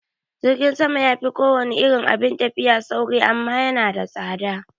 Jirgin sama yafi kowane irin abun tafiya sauri amma yana da tsada